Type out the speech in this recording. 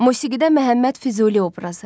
Musiqidə Məhəmməd Füzuli obrazı.